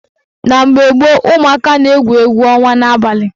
Na mgbe gboo, umụaka na-egwu egwu ọnwa n'abalị